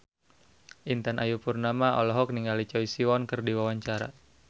Intan Ayu Purnama olohok ningali Choi Siwon keur diwawancara